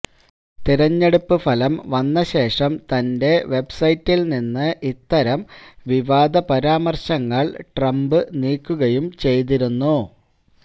തിരഞ്ഞെടുപ്പ് ഫലം വന്നശേഷം തന്റെ വെബ്സൈറ്റില്നിന്ന് ഇത്തരം വിവാദ പരാമര്ശങ്ങള് ട്രംപ് നീക്കുകയും ചെയ്തിരുന്നു